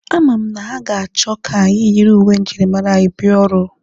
A ma m na ha ga-achọ ka anyị yiri uwe njirimara anyị bịa ọrụ.